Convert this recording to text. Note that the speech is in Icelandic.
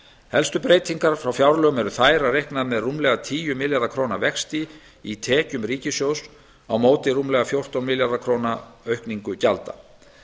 helstu breytingar frá fjárlögum eru þær að reiknað er með rúmlega tíu milljarða króna vexti í tekjum ríkissjóðs á móti rúmlega fjórtán milljarða króna aukningu gjalda